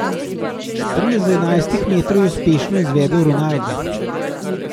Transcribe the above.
Strel z enajstih metrov je uspešno izvedel Ronaldo.